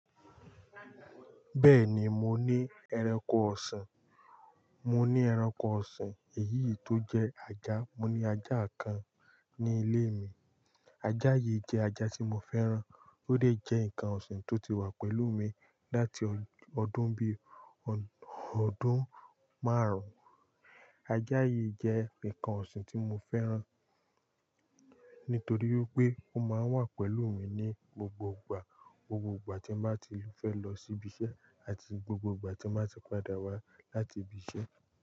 Bẹ́ẹ̀ni, mo ní ẹranko ọ̀sìn. Mo ní ẹranko ọ̀sìn èyí tó jẹ́ ajá. Mo ní ajá kan ní ilé mi. Ajá yìí jẹ́ ajá tí mo fẹ́ràn. Ó lè jẹ́ nǹkan ọ̀sìn tó ti wà pẹ̀lú mi láti ọdún bí ọdún márùn-ún. Ajá yìí jẹ́ nǹkan ọ̀sìn tí mo fẹ́ràn nítorí pé ó máa ń wà pẹ̀lú mi ní gbogbo ìgbà. Gbogbo ìgbà tí mo bá ti fẹ́ lọ sí ibi iṣẹ́ àti gbogbo ìgbà tí mo bá ti padà wá láti ibi iṣẹ́.